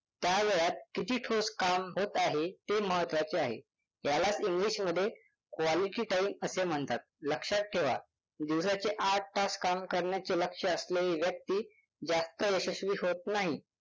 त्या वेळात किती ठोस काम होत आहे ते महत्वाचे आहे. यालाच english मध्ये quality time असे म्हणतात. लक्षात ठेवा दिवसाचे आठ तास काम करण्याचे लक्ष्य असलेली व्यक्ती जास्त यशस्वी होत नाही